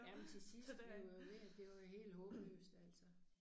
Jamen til sidst vil jo vil det jo helt håbløst altså